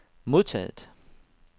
modtaget